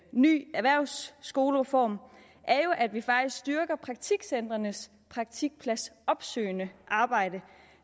ny erhvervsskolereform er jo at vi faktisk styrker praktikcentrenes praktikpladsopsøgende arbejde